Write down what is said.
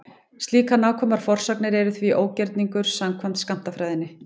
Slíkar nákvæmar forsagnir eru því ógerningur samkvæmt skammtafræðinni.